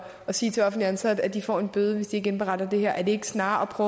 sige til offentligt ansatte at de får en bøde hvis de ikke indberetter det her er det ikke snarere at